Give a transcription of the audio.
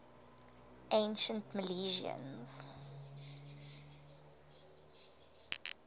ancient milesians